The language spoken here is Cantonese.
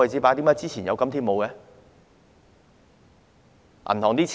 為何之前有，今天沒有呢？